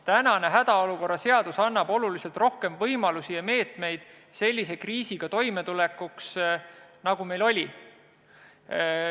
Tänane hädaolukorra seadus annab oluliselt rohkem võimalusi ja meetmeid sellise kriisiga toime tulla, nagu meil oli.